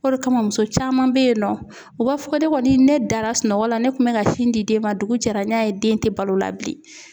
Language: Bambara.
O de kama muso caman be yen nɔ u b'a fɔ ko ne kɔni ne dara sunɔgɔ la ne kun bɛ ka sin di den ma dugu jɛra n y'a ye den tɛ balo la bilen.